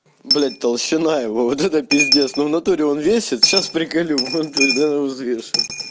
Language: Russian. блядь толщина его вот это пиздец ну в натуре он весит сейчас приколю реально взвешу